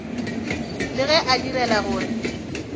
le ge a direla gore